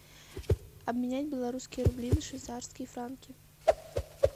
обменять белорусские рубли на швейцарские франки